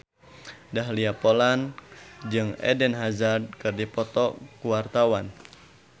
Dahlia Poland jeung Eden Hazard keur dipoto ku wartawan